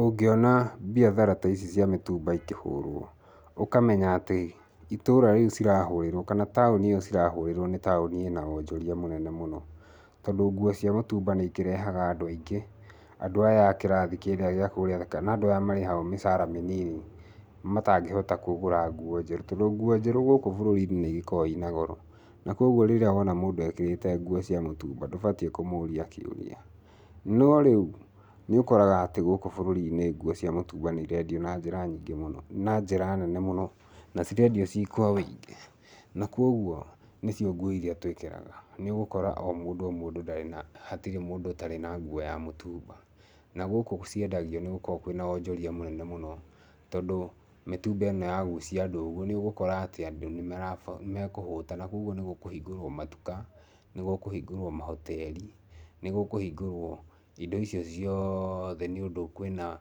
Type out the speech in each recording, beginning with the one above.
Ũngĩona biathara ta ici cia mĩtumba ũkamenya atĩ, itũra rĩu cirahũrĩrũo kana taũni ĩyo cirahũrĩrũo nĩ taũni ĩna wonjoria mũnene mũno. Tondu nguo cia mũtumba nĩ ikĩrehaga andũ aingĩ andũ aya a kĩrathi kĩrĩa gĩakũrĩa, kana andũ aya marĩhagũo mĩcara mĩnini matangĩhota kũgũra ngũo njerũ tondũ nguo njerũ gũkũ bũrũri-inĩ nĩ ikoragũo ina goro, na kogũo rĩrĩa wona mũndũ ekĩrĩte nguo cia mũtumba, ndũbatiĩ kũmũria kĩũria. No rĩu, nĩ ũkoraga atĩ gũkũ bũrũri-inĩ nguo cia mũtumba nĩ irendio na njĩra nyingĩ mũno na njĩra nene mũno, na cirendio ciĩ kwa wĩingĩ na kũoguo nĩcio nguo iria tũĩkĩraga. Nĩ ũgũkora o mũndũ o mũndũ, ndarĩ na, hatirĩ mũndũ ũtarĩ nguo ya mũtumba. Na gũkũ ciendagio nĩ gũkoragwo kũrĩ na wonjoria mũnene mũno, tondũ mĩtumba ĩno ya gucia andũ ũguo nĩ ũgũkora atĩ andũ nĩ mekũhũta na koguo nĩ gũkũhingũrũo matuka, nĩ gũkũhingũrũo mahoteri, nĩ gũkũhingũrũo indo icio ciothe nĩũndũ kwĩna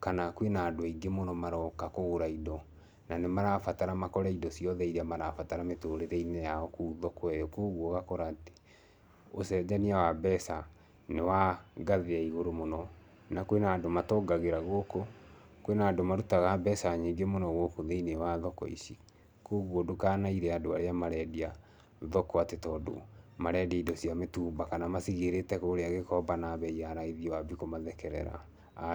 kana kwĩna andũ aingĩ mũno maroka kũgũra indo, na nĩ marabatara makore indo ciothe iria marabatara mĩtũrĩre-inĩ yao kũu thoko ĩyo, koguo ũgakora atĩ ũcenjania wa mbeca nĩ wa ngathĩ ya igũrũ mũno na kwĩna na andũ matongagĩra gũkũ, kwĩ na andũ marutaga mbeca nyingĩ mũno thĩinĩ wa thoko ici. koguo ndũkanaire andũ arĩa marendia thoko atĩ tondũ marendia indo cia mĩtumba kana macigĩrĩte kũrĩa Gĩkomba na mbei ya raithi wambie kũmathekerera, aca.